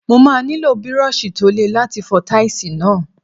Mo máa nílò Bírọ́ọ̀ṣì tó le láti fọ táìsì náà.